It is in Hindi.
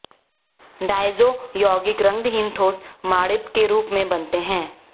डायज़ो यौगिक रंगहीन ठोस मणिभ के रूप में बनते हैं